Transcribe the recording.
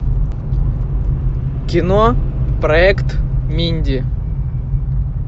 кино проект минди